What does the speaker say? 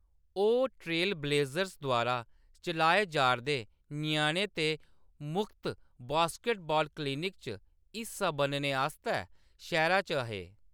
ओह्‌‌ Trail Blazers द्वारा चलाए जा’रदे ञ्याणें दे मुख्त बास्केटबॉल क्लिनिक च हिस्सा बनने आस्तै शैह्‌रा च हे।